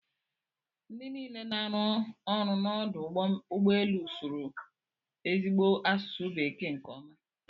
Ndị niile na-arụ n'ọdụ ụgbọ elu sụrụ ezigbo asụsụ bekee nke ọma.